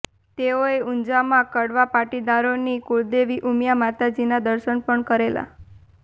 તેઓએ ઊંઝામાં કડવા પાટીદારોની કુળદેવી ઉમિયા માતાજીના દર્શન પણ કરેલા